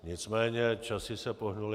Nicméně časy se pohnuly.